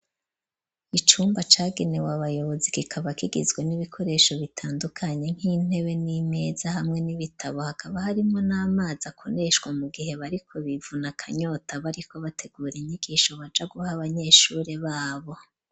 Icumba, cagenewe abayobozi, kikaba kigizwe, n'ibikoresho bitandukanye, nk'intebe n'imeza, hamwe n'ibitabo; hakaba harimwo, n'amazi, akoreshwa mu gihe, bariko bivuna akanyota, bariko bategura inyigisho, baja guha abanyeshuri, babo.